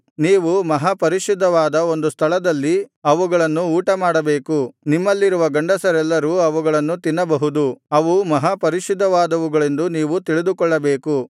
ನೀವು ಮಹಾಪರಿಶುದ್ಧವಾದ ಒಂದು ಸ್ಥಳದಲ್ಲಿ ಅವುಗಳನ್ನು ಊಟಮಾಡಬೇಕು ನಿಮ್ಮಲ್ಲಿರುವ ಗಂಡಸರೆಲ್ಲರೂ ಅವುಗಳನ್ನು ತಿನ್ನಬಹುದು ಅವು ಮಹಾಪರಿಶುದ್ಧವಾದವುಗಳೆಂದು ನೀವು ತಿಳಿದುಕೊಳ್ಳಬೇಕು